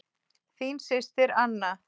Þín systir, Anna.